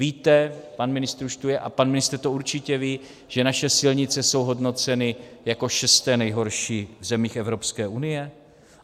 Víte - pan ministr už tu je a pan ministr to určitě ví, že naše silnice jsou hodnoceny jako šesté nejhorší v zemích Evropské unie?